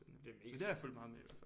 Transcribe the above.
Det er mega spændende